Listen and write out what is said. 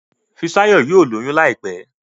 Fisayo yíò lóyún láìpé